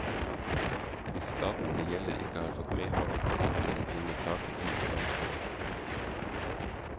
Hvis staten det gjelder ikke har fått medhold, kan den bringe saken inn for domstolen.